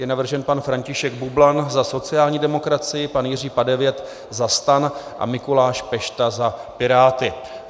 Je navržen pan František Bublan za sociální demokracii, pan Jiří Padevět za STAN a Mikuláš Pešta za Piráty.